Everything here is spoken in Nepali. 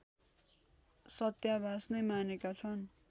सत्याभास नै मानेका छन्